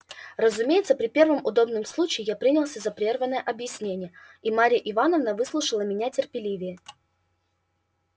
разумеется при первом удобном случае я принялся за прерванное объяснение и марья ивановна выслушала меня терпеливее